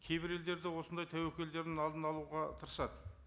кейбір елдерде осындай тәуекелдердің алдын алуға тырысады